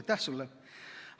Aitäh sulle!